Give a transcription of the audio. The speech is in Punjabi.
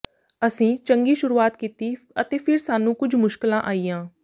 ਅਸੀਂ ਚੰਗੀ ਸ਼ੁਰੂਆਤ ਕੀਤੀ ਅਤੇ ਫਿਰ ਸਾਨੂੰ ਕੁਝ ਮੁਸ਼ਕਲਾਂ ਆਈਆਂ